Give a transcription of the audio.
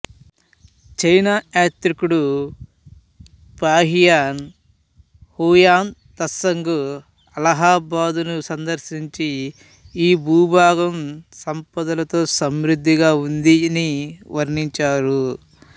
చైనాయాత్రికుడు Fahien Hiuen Tsang అలహాబాదును సందర్శించి ఈ భూభాగం సంపదలతో సమృద్ధిగా ఉందని వర్ణించారు